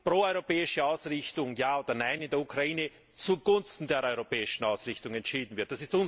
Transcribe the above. pro europäische Ausrichtung ja oder nein in der Ukraine zugunsten der europäischen Ausrichtung entschieden wird.